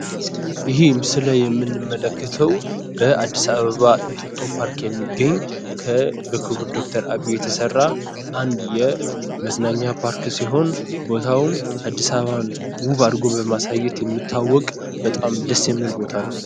ይሄ ምስል ላይ የምንመለከተው በአድስ አበባ እንጦጦ ፓርክ የሚገኝ በክቡር ዶክተር አብይ የተሰራ አንድ የመዝናኛ ፓርክ ሲሆን ቦታውም አድስ አበባን ውብ አድርጎ በማሳየት የሚታወቅ በጣም ደስ የሚል ቦታ ነው።